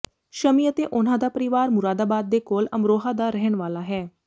ਸ਼ਮੀ ਅਤੇ ਉਨ੍ਹਾਂ ਦਾ ਪਰਿਵਾਰ ਮੁਰਾਦਾਬਾਦ ਦੇ ਕੋਲ ਅਮਰੋਹਾ ਦਾ ਰਹਿਣ ਵਾਲਾ ਹੈ